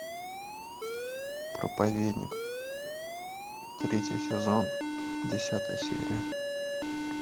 проповедник третий сезон десятая серия